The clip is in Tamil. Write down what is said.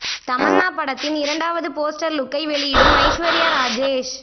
தமன்னா படத்தின் இரண்டாவது போஸ்டர் லுக்கை வெளியிடும் ஐஸ்வர்யா ராஜேஷ்